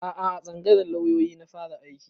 A'a a tsangayar lauyoyi na fara aiki